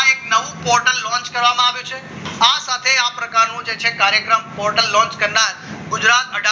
આ એક નવું portal launch કરવામાં આવ્યું છે આ સાથે આ પ્રકારનું છે કાર્યક્રમ portal launch કરનાર ગુજરાત